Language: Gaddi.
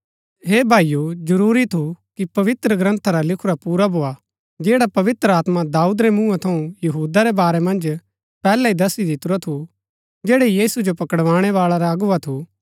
हे भाईओ जरूरी थू की पवित्रग्रन्था रा लिखुरा पुरा भोआ जैडा पवित्र आत्मा दाऊद रै मूँहा थऊँ यहूदा रै वारै मन्ज पैहलै ही दस्सी दितुरा थु जैडा यीशु जो पकड़ाणै बाळा रा अगुवा थु